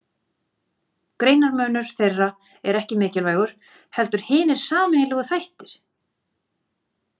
Greinarmunur þeirra er ekki mikilvægur heldur hinir sameiginlegu þættir.